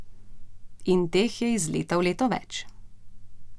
In teh je iz leta v leto več.